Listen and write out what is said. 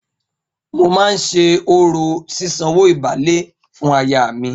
Mo máa ṣe orò sísanwó ìbálé fún aya mi.